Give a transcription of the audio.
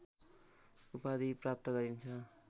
उपाधि प्राप्त गरिन्